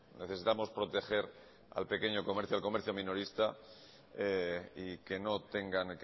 necesitamos proteger al pequeño comercio al comercio minorista y que